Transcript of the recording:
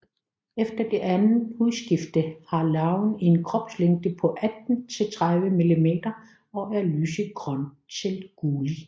Efter det andet hudskifte har larven en kropslængde på 18 til 30 mm og er lysegrøn til gullig